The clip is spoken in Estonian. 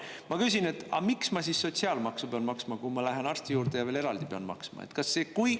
Ma küsin, et aga miks ma siis sotsiaalmaksu pean maksma, kui ma lähen arsti juurde ja veel eraldi pean maksma?